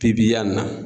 Pipɲari na